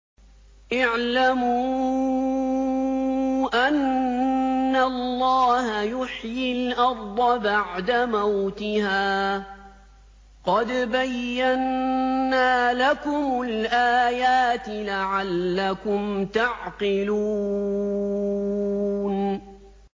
اعْلَمُوا أَنَّ اللَّهَ يُحْيِي الْأَرْضَ بَعْدَ مَوْتِهَا ۚ قَدْ بَيَّنَّا لَكُمُ الْآيَاتِ لَعَلَّكُمْ تَعْقِلُونَ